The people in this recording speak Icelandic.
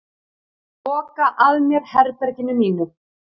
Loka að mér herberginu mínu.